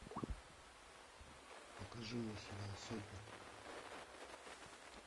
покажи мне сериал сотня